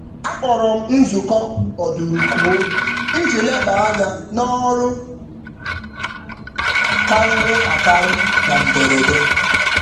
Akpọrọm nzukọ ọdụrụkụọ iji leba ányá n'ọrụ karịrị akari na mberede